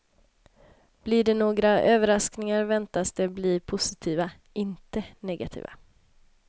Blir det några överraskningar väntas de bli positiva, inte negativa.